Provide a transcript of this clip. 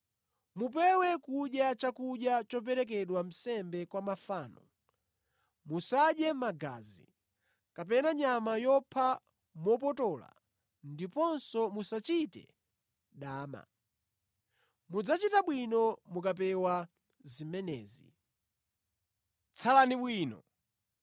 Mupewe kudya chakudya choperekedwa nsembe kwa mafano, musadye magazi, kapena nyama yopha mopotola ndiponso musachite dama. Mudzachita bwino mukapewa zimenezi. Tsalani bwino.